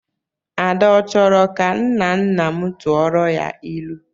Ada ọ chọrọ ka nnanna m tụọrọ ya ilu?